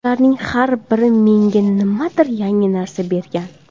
Ularning har biri menga nimadir yangi narsa bergan.